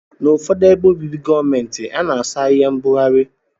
Na ụfọdụ ebe obibi gọọmenti ana asọ ahia mbugari.